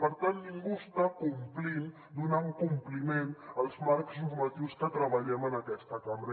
per tant ningú està complint donant compliment als marcs normatius que treballem en aquesta cambra